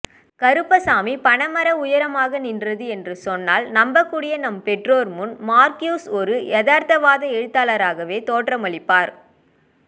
கருப்பசாமி பனைமர உயரமாக நின்றது என்று சொன்னால் நம்பக்கூடிய நம் பெற்றோர் முன் மார்க்யூஸ் ஒரு யதார்த்தவாத எழுத்தாளராகவே தோற்றமளிப்பார்